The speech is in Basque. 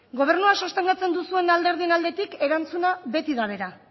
gobernua sostengatzen duzuen alderdien aldetik erantzuna beti da bera